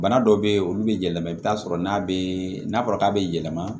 Bana dɔw be ye olu be yɛlɛma i bi t'a sɔrɔ n'a be n'a fɔra k'a be yɛlɛma